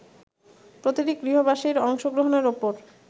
প্রতিটি গৃহবাসীর অংশগ্রহণের ওপর